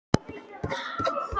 Fer allt í einu að hugsa um Sif.